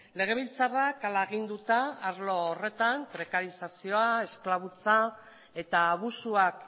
legebiltzarrak hala aginduta arlo horretan prekarizazioa esklabutza eta abusuak